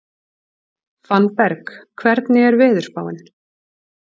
Fannberg, hvernig er veðurspáin?